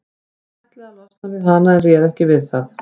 Hann ætlaði að losna við hana en réð ekki við það.